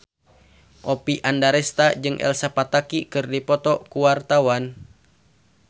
Oppie Andaresta jeung Elsa Pataky keur dipoto ku wartawan